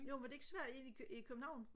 jo men er det ikke svært inde i København?